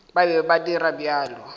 ba be ba dira bjalo